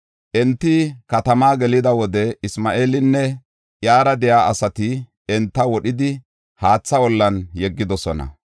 Enti katamaa gelida wode Isma7eelinne iyara de7iya asati enta wodhidi haatha ollan yeggidosona.